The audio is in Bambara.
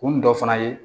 Kun dɔ fana ye